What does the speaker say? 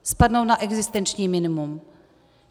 Spadnou na existenční minimum.